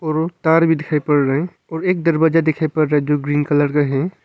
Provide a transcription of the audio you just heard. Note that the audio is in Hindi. और व् तार भी दिखाई पड़ रहा है और एक दरवाजा दिखाई पड़ रहा है जो ग्रीन कलर का है।